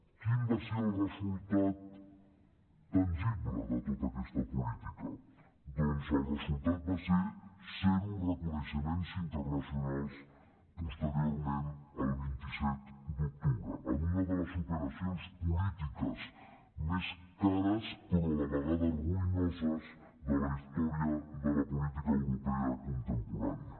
quin va ser el resultat tangible de tota aquesta política doncs el resultat va ser zero reconeixements internacionals posteriorment al vint set d’octubre en una de les operacions polítiques més cares però a la vegada ruïnoses de la història de la política europea contemporània